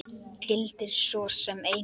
Gildir svo sem einu.